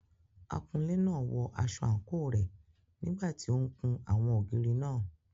Akunlé náà wọ aṣọ àǹkóò rẹ̀ nígbà tí ó ń kun àwọn ògiri náà.